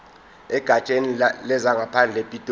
egatsheni lezangaphandle epitoli